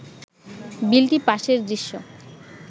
বিলটি পাসের দৃশ্য